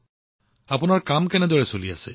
আৰু আপোনাৰ কাম কেনে চলি আছে